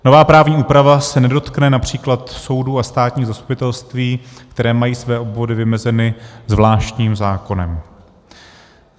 Nová právní úprava se nedotkne například soudů a státních zastupitelství, které mají své obvody vymezeny zvláštním zákonem.